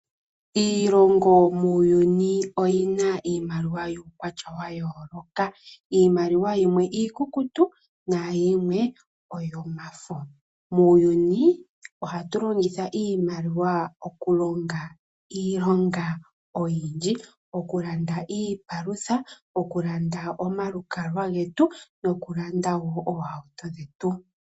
Iilongo muuyuni oyina iimaliwa yuukwatya wa yooloka, iimaliwa yimwe iikukutu nahikwe oyo mafo. Muuyuni ohatu longitha iimaliwa okulonga iilonga oyindji okulanda iipalutha, okulanda omalukalwa getu nokulanda wo oohauto dhetu.